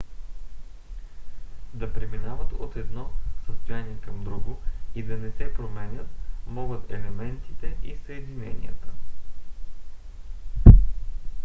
да преминават от едно състояние към друго и да не се променят могат елементите и съединенията